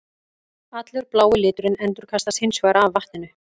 Allur blái liturinn endurkastast hins vegar af vatninu.